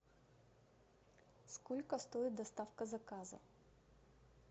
сколько стоит доставка заказа